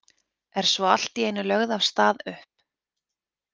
Er svo allt í einu lögð af stað upp.